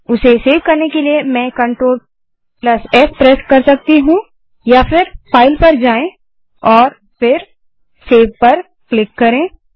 उसे सेव करने के लिए में CTRL एस प्रेस कर सकती हूँ या फाइल पर जाएँ और सेव पर क्लिक करें